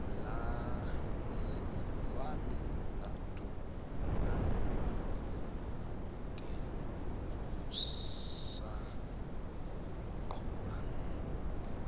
lwani madumakude kusaqhuba